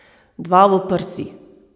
Dva v prsi.